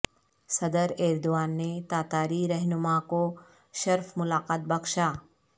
صدر ایردوان نے تاتاری رہنما کو شرف ملاقات بخشا